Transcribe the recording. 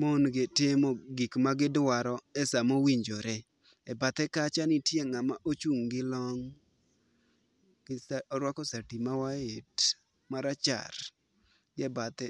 mon gitimo gik magidwaro e sa mowinjore . e bathe kacha nitie ng'ama ochung' gi long'. Orwako sati marachar gi e bathe.